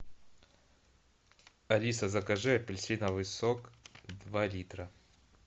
алиса закажи апельсиновый сок два литра